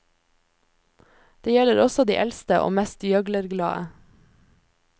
Det gjelder også de eldste og mest gjøglerglade.